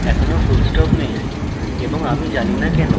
এখনও full stop নেই এবং আমি জানি না কেনো